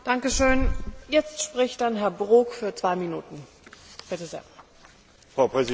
Frau Präsidentin, Frau Ratspräsidentin, Herr Kommissar, Kolleginnen und Kollegen!